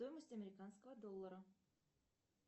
стоимость американского доллара